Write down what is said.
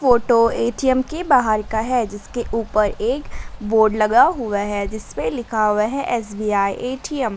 Photo A T M के बाहर का है जिसके ऊपर एक बोर्ड लगा हुआ हैं जिसपे लिखा हुआ हैं एस_बी_आई ए_टी_एम ।